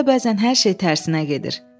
Həyatda bəzən hər şey tərsinə gedir.